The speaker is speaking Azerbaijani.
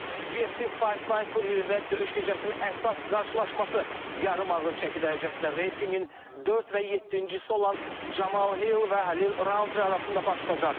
UFC Fight Night turnirində döyüş gecəsinin əsas qarşılaşması yarım ağır çəki dərəcəsində reytinqin dörd və yeddinci olan Camal Hill və Xəlil Rountree arasında başlayacaq.